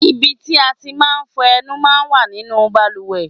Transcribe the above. Ibi tí a ti máa ń fọ ẹnu máa ń wà nínú bàlùwẹ̀.